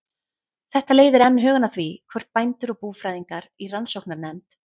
Þetta leiðir enn hugann að því, hvort bændur og búfræðingar í rannsóknarnefnd